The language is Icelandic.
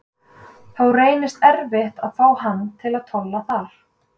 Þá reynist erfitt að fá hana til að tolla þar.